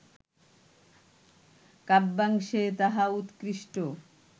কাব্যাংশে তাহা উৎকৃষ্ট